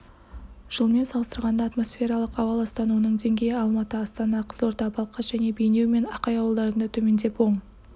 жылмен салыстырғанда атмосфералық ауа ластануының деңгейі алматы астана қызылорда балқаш және бейнеу мен ақай ауылдарында төмендеп оң